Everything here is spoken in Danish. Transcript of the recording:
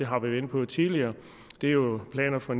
har været inde på tidligere det er jo planer for